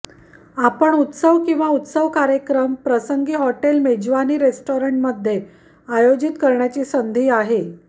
आपण उत्सव किंवा उत्सव कार्यक्रम प्रसंगी हॉटेल मेजवानी रेस्टॉरंट मध्ये आयोजित करण्याची संधी आहे